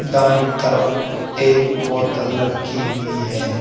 दाएं तरफ एक बोतल रखी हुई है।